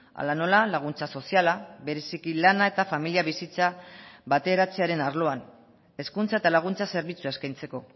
hala nola laguntza soziala bereziki lana eta familia bizitza bateratzearen arloan hezkuntza eta laguntza zerbitzua eskaintzeko